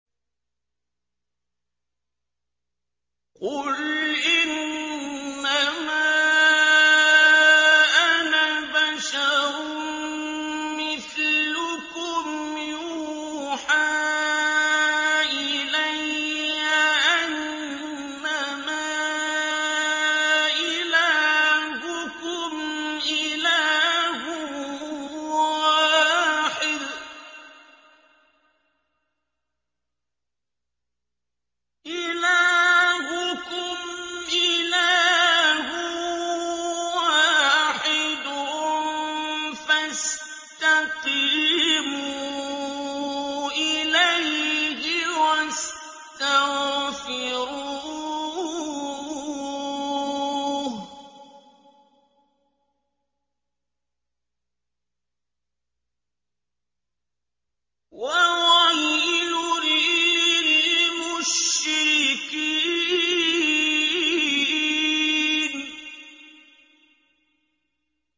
قُلْ إِنَّمَا أَنَا بَشَرٌ مِّثْلُكُمْ يُوحَىٰ إِلَيَّ أَنَّمَا إِلَٰهُكُمْ إِلَٰهٌ وَاحِدٌ فَاسْتَقِيمُوا إِلَيْهِ وَاسْتَغْفِرُوهُ ۗ وَوَيْلٌ لِّلْمُشْرِكِينَ